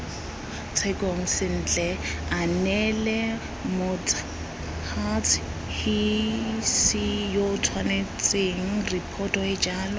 tshekong sentle aneelemots huts hisiyootshwanetsengripotoeejalo